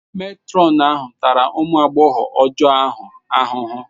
Matron ahụ tara ụmụ agbọghọ ọjọọ ahụ ahụhụ.